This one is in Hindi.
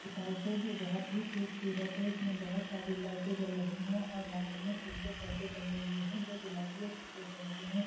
गेस्ट हाउस है जो बहोत ही खूबसूरत है | इसमें बहोत सारी लाइट जल रही है और ग्राउंड में एक दो पर्दे टांगे हुए है | जो की गुलाबी और सफ़ेद रंग है ।